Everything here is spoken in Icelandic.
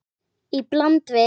Í bland við